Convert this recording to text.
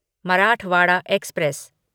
Marathwada express